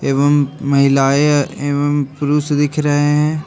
एवं महिलाएं एवं पुरुष दिख रहे हैं।